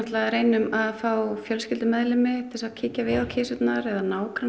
reynum að fá fjölskyldumeðlimi til að kíkja á kisurnar nágranna